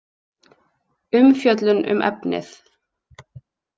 Umfjöllun um efnið.